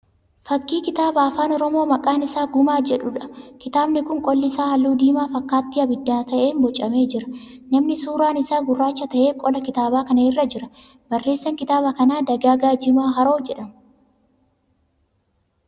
Fakkii kitaaba afaan Oromoo maqaan isaa Gumaa jedhuudha. Kitaabni kun qolli isaa halluu diimaa fakkaatti ibiddaa ta'een boocamee jira. Namni suuraan isaa gurraacha ta'e qola kitaaba kanaa irra jira. Barreessaan kitaaba kanaa Dagaagaa Jimaa Haroo jedhama.